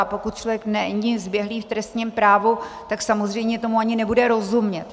A pokud člověk není zběhlý v trestním právu, tak samozřejmě tomu ani nebude rozumět.